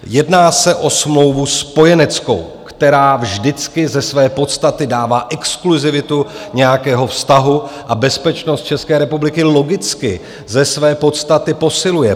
Jedná se o smlouvu spojeneckou, která vždycky ze své podstaty dává exkluzivitu nějakého vztahu a bezpečnost České republiky logicky ze své podstaty posiluje.